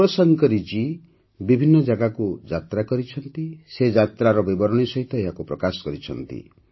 ଶିବଶଙ୍କରୀଜୀ ବିଭିନ୍ନ ଜାଗାକୁ ଯାତ୍ରା କରିଛନ୍ତି ସେ ଯାତ୍ରାର ବିବରଣୀ ସହିତ ଏହାକୁ ପ୍ରକାଶ କରିଛନ୍ତି